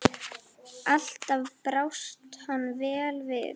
Alltaf brást hann vel við.